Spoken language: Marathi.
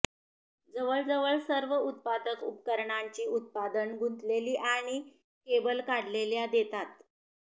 जवळजवळ सर्व उत्पादक उपकरणांची उत्पादन गुंतलेली आणि केबल काढलेल्या देतात